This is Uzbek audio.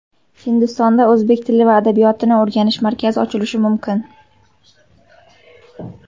Hindistonda O‘zbek tili va adabiyotini o‘rganish markazi ochilishi mumkin.